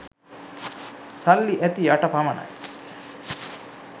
සල්ලි ඇති යට පමණයි